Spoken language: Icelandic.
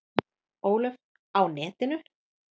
Ólöf: Á netinu?